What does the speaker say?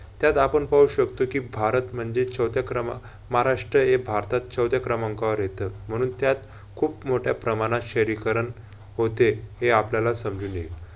त्यात आपण पाहू शकतो कि भारत म्हणजे चवथ्या क्रमा महाराष्ट्र हे भारतात चवथ्या क्रमांकावर येत म्हणून त्यात खूप मोठ्या प्रमाणात शहरीकरण होते. हे आपल्याला समजून येईल.